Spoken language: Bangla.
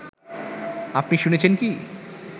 আপনি শুনেছেন কি